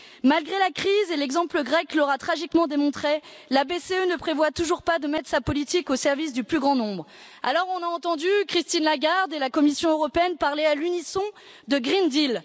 Malgré la crise et l'exemple grec l'aura tragiquement démontré la BCE ne prévoit toujours pas de mettre sa politique au service du plus grand nombre. Alors nous avons entendu Christine Lagarde et la Commission européenne parler à l'unisson de Green Deal.